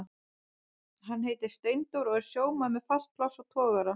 Hann heitir Steindór og er sjómaður með fast pláss á togara.